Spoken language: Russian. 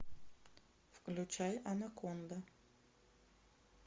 включай анаконда